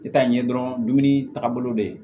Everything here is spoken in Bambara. I t'a ye dɔrɔn dumuni taaga bolo bɛ yen